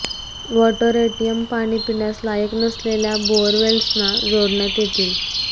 water ATM पाणी पिण्यास लायक नसलेल्या बोअरवेल्सला जोडण्यात येतील